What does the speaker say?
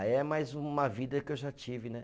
Aí é mais uma vida que eu já tive, né?